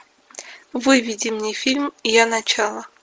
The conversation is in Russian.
выведи мне фильм я начало